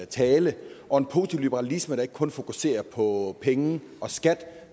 tale og en positiv liberalisme der ikke kun fokuserer på penge og skat